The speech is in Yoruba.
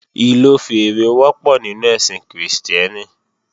Ìlò fèèrè wọ́pọ̀ nínú ẹ̀sìn Krìstẹ́nì